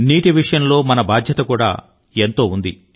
నీటి విషయంలో మనకు కూడా ఒక బాధ్యత ఉంది